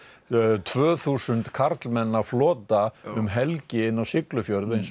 tvö þúsund karlmanna flota um helgi inn á Siglufjörð eins og